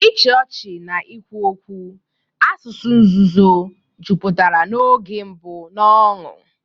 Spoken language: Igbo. Ịchị ọchị na ikwu okwu, asụsụ nzuzo, jupụtara n'oge mbụ n'ọṅụ.